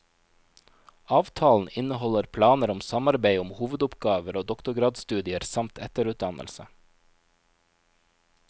Avtalen inneholder planer om samarbeid om hovedoppgaver og doktorgradsstudier samt etterutdannelse.